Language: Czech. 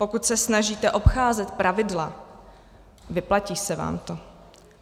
Pokud se snažíte obcházet pravidla, vyplatí se vám to.